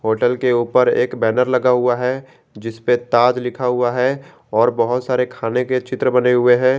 Hotel के ऊपर एक बैनर लगा हुआ है जिस पे ताज लिखा हुआ है और बहोत सारे खाने के चित्र बने हुए हैं।